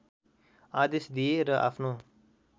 आदेश दिए र आफ्नो